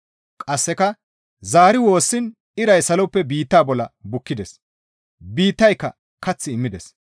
Qasseka zaari woossiin iray saloppe biitta bolla bukkides; biittayka kath immides.